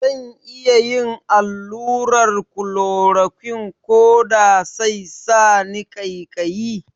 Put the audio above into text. Zan iya yin allurar klorokwin koda sai sani ƙaikayi?